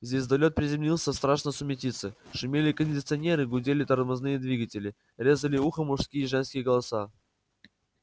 звездолёт приземлился в страшной сумятице шумели кондиционеры гудели тормозные двигатели резали ухо мужские и женские голоса